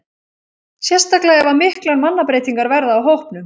Sérstaklega ef að miklar mannabreytingar verða á hópnum.